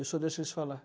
Eu só deixo eles falar.